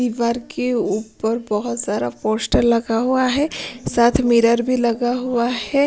बर के ऊपर बहुत सारा पोस्टर लगा हुआ है साथ मिरर भी लगा हुआ है।